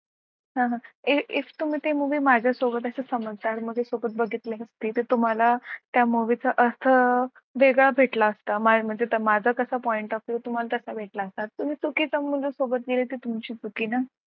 हो ना if तुम्ही ते movie माझ्यासोबत असं समजदार मध्ये सोबत बघितली असते तर तुम्हाला त्या movie चा अर्थ वेगळा भेटला असता माझ्या मते तर माझा कसा point of view आहे तुम्हाला तसा भेटला असता तुम्ही चुकीच्या मुली सोबत गेले ते तुमची चुकी ना.